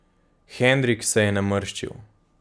Henrik se je namrščil.